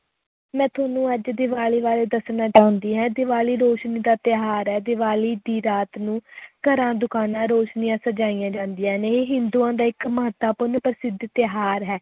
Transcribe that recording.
ਮੈਂ ਤੁਹਾਨੂੰ ਅੱਜ ਦੀਵਾਲੀ ਬਾਰੇ ਦੱਸਣਾ ਚਾਹੁੰਦੀ ਹਾਂ, ਦੀਵਾਲੀ ਰੋਸ਼ਨੀ ਦਾ ਤਿਉਹਾਰ ਹੈ, ਦੀਵਾਲੀ ਦੀ ਰਾਤ ਨੂੰ ਘਰਾਂ, ਦੁਕਾਨਾਂ ਰੌਸ਼ਨੀਆਂ ਸਜਾਈਆਂ ਜਾਂਦੀਆਂ ਨੇ, ਇਹ ਹਿੰਦੂਆਂ ਦਾ ਇੱਕ ਮਹੱਤਵਪੂਰਨ ਪ੍ਰਸਿੱਧ ਤਿਉਹਾਰ ਹੈ।